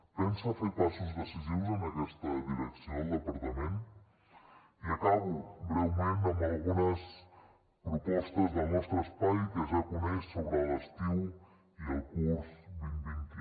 pensa fer passos decisius en aquesta direcció el departament i acabo breument amb algunes propostes del nostre espai que ja coneix sobre l’estiu i el curs vintvint un